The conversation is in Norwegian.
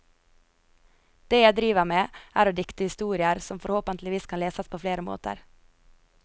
Det jeg driver med, er å dikte historier, som forhåpenlig kan leses på flere måter.